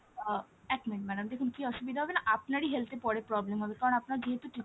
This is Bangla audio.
আহ এক minute madam দেখুন কী অসুবিধা হবে না আপনারই health এ পরে problem হবে কারন আপনার যেহেতু treatment,